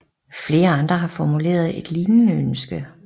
Flere andre har formuleret et lignende ønske